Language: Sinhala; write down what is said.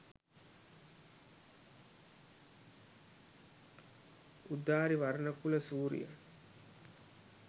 udari warnakula suriya